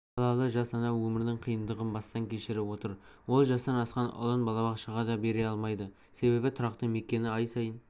көпбалалы жас ана өмірдің қиындығын бастан кешіріп отыр ол жастан асқан ұлын балабақшаға да бере алмайды себебі тұрақты мекені ай сайын